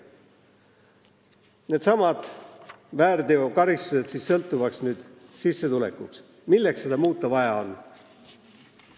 Muuta needsamad väärteokaristused sissetulekust sõltuvaks – milleks seda vaja on?